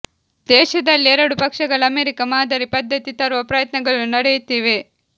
ದೇಶದಲ್ಲಿ ಎರಡು ಪಕ್ಷಗಳ ಅಮೆರಿಕ ಮಾದರಿ ಪದ್ಧತಿ ತರುವ ಪ್ರಯತ್ನಗಳು ನಡೆಯುತ್ತಿವೆ